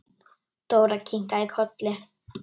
Dóra kinkaði kolli.